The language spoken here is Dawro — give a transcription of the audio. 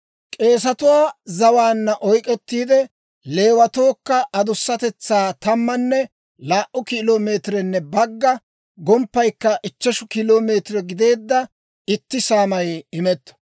«K'eesetuwaa zawaanna oyk'k'ettiide, Leewatookka adusatetsaa tammanne laa"u kilo meetirenne bagga, gomppaykka ichcheshu kilo meetire gideedda itti saamay imetto.